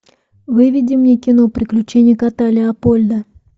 выведи мне кино приключения кота леопольда